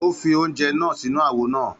Ó fi oúnjẹ náà sínú àwo náà.